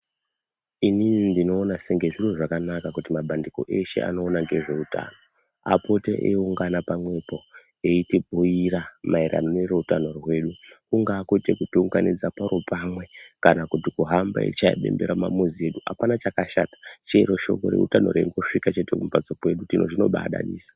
Inini ndinoona senge zviro zvakanaka kuti mabandiko eshe anoona ngezveutano apote eiungana pamwepo eitibhuira maererano nereutano hwedu. Kungaa kuti kutiunganidza paro pamwe kana kuti kufamba eishaya bembera mumamizi edu. Hapana chakashata chero shoko reutano riri kusvika chete mumamizi kwedu zviro zvinobadadisa.